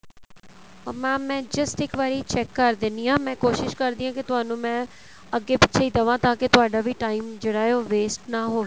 ਅਹ mam ਮੈਂ just ਇੱਕ ਵਾਰੀ check ਕ਼ਰ ਦਿੰਨੀ ਆ ਮੈਂ ਕੋਸ਼ਿਸ਼ ਕਰਦੀ ਆ ਕੀ ਤੁਹਾਨੂੰ ਮੈਂ ਅੱਗੇ ਪਿੱਛੇ ਈ ਦਵਾਂ ਤਾਂ ਕੀ ਤੁਹਾਡਾ ਵੀ time ਜਿਹੜਾ ਏ ਉਹ waste ਨਾ ਹੋਵੇ